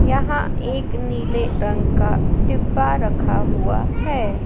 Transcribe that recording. यहां एक नीले रंग का डिब्बा रखा हुआ है।